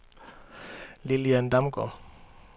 Lilian Damgaard